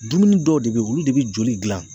Dumuni dɔw de be ye olu de be joli dilan